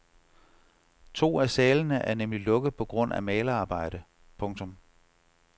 To af salene er nemlig lukket på grund af malerarbejde. punktum